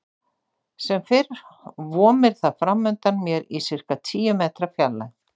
Sem fyrr vomir það framundan mér í sirka tíu metra fjarlægð.